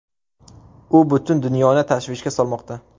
U butun dunyoni tashvishga solmoqda.